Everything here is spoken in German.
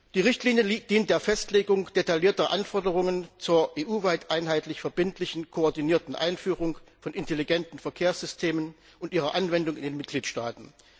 Die Richtlinie dient der Festlegung detaillierter Anforderungen zur EU weit einheitlich verbindlichen, koordinierten Einführung von intelligenten Verkehrssystemen und ihre Anwendung in den Mitgliedstaaten.